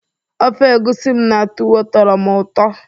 ofe egusi m na tuwo tọrọ m ụtọ